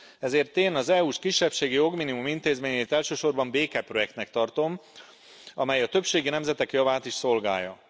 Ezért én az EU s kisebbségi jogminimum intézményét elsősorban békeprojektnek tartom, amely a többségi nemzetek javát is szolgálja.